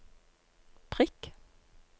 prikk